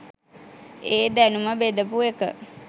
ඒ දැනුම බෙදපු එක